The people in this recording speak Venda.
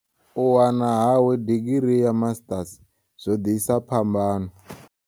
U wana hawe digirii ya Masiṱasi zwo ḓisa phambano.